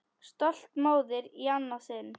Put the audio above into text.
Stolt móðir í annað sinn.